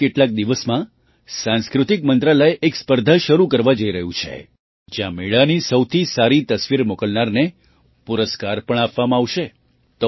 આગામી કેટલાક દિવસમાં સાંસ્કૃતિક મંત્રાલય એક સ્પર્ધા શરૂ કરવા જઈ રહ્યું છે જ્યાં મેળાની સૌથી સારી તસવીર મોકલનારને પુરસ્કાર પણ આપવામાં આવશે